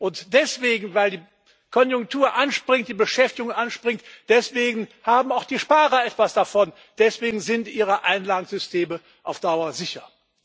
Und deswegen, weil die Konjunktur anspringt, die Beschäftigung anspringt, haben auch die Sparer etwas davon, deswegen sind ihre Einlagensysteme auf Dauer sicher.